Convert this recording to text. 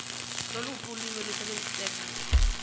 loluphi ulwimi olusebenziseka